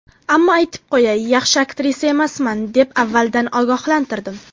Ammo aytib qo‘yay, yaxshi aktrisa emasman deb avvaldan ogohlantirdim.